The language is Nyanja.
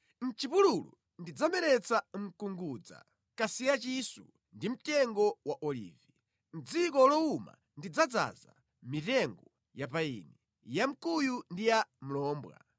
Mʼchipululu ndidzameretsa mkungudza, kasiya mchisu ndi mtengo wa Olivi. Mʼdziko lowuma ndidzaza mitengo ya payini, ya mkuyu ndi ya mlombwa,